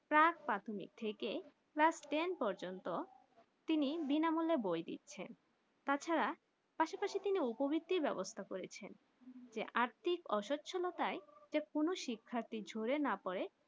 প্ৰাক প্রাথমিক থেকে class টেন পযন্ত তিনি বিনা মূল্যে বই দিচ্ছেন তাছাড়া আসেপশে উপবৃত্তি ব্যবস্থা করেছে যে আর্থিক অসচলটাই কোনো শিক্ষার্থী ঝরে না পরে